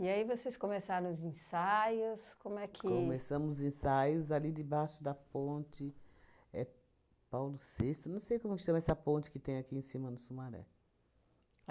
E aí vocês começaram os ensaios, como é que... Começamos os ensaios ali debaixo da ponte é Paulo Sexto, não sei como que chama essa ponte que tem aqui em cima do Sumaré.